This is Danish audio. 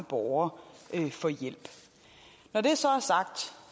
borgere få hjælp når det